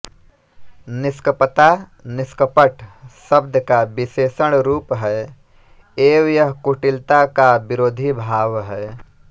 निष्कपता निष्कपट शब्द का विशेषण रूप है एवं यह कुटिलता का विरोधी भाव है